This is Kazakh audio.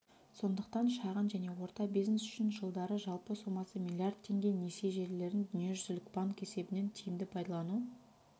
сондықтан шағын және орта бизнес үшін жылдары жалпы сомасы миллиард теңге несие желілерін дүниежүзілік банк есебінен тиімді пайдалану